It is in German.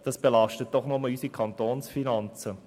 Dies belastet doch nur unsere Kantonsfinanzen.